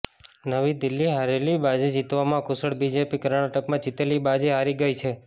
નવી દિલ્હીઃ હારેલી બાજી જીતવામાં કુશળ બીજેપી કર્ણાટકમાં જીતેલી બાજી હારી ગઈ છે